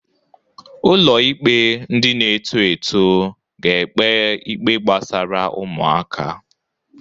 Ụlọ ikpe ndị na-eto eto ga-ekpe ikpe gbasara ụmụaka.